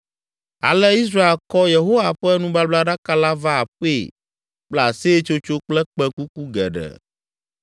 Ale Israel kɔ Yehowa ƒe nubablaɖaka la va aƒee kple aseyetsotso kple kpẽkuku geɖe.